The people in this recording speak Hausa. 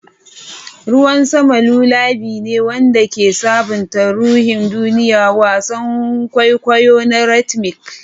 Ruwan sama lullaby ne wanda ke sabunta ruhin duniya, wasan kwaikwayo na rhythmic.